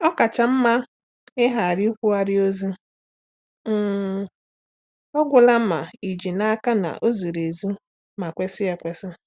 Ọ kacha mma ịghara ikwugharị ozi um ọ gwụla ma ị ji n’aka na ọ ziri ezi ma kwesị ekwesị.